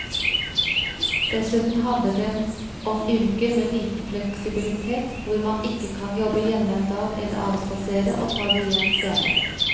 Dessuten handler det om yrker med liten fleksibilitet hvor man ikke kan jobbe hjemme en dag eller avspasere og ta det igjen senere.